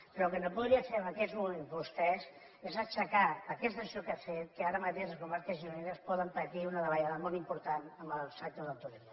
però el que no podien fer en aquests moments vostès és aixecar aquesta situació que ha fet que ara mateix les comarques gironines puguin patir una davallada molt important en el sector del turisme